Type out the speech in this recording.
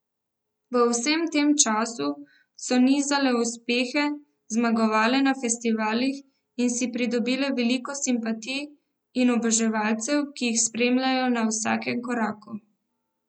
V vsem tem času so nizale uspehe, zmagovale na festivalih in si pridobile veliko simpatij in oboževalcev, ki jih spremljajo na vsakem koraku.